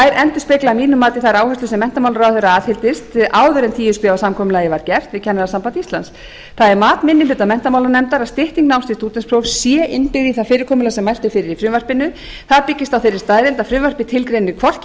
að mínu mati þær áherslur sem menntamálaráðherra aðhylltist áður en tíu stiga samkomulagið var gert við kennarasambandi íslands það er mat minni hluta menntamálanefndar að stytting náms til stúdentsprófs sé innbyggð í það fyrirkomulag sem mælt er fyrir í frumvarpinu það byggist